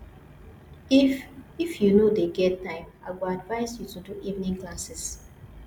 If If you no dey get time, I go advice you to do evening classes